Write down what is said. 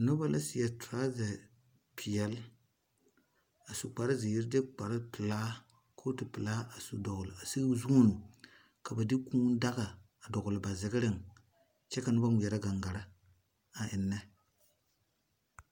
Nuba la seɛ truza peɛle a su kpare ziiri de kpare pelaa koɔti pelaa a su dɔgli a sigi zun ka de kũũ daga a dɔgli ba zigri ng kye ka nuba ngmeɛrɛ gangaa a engne.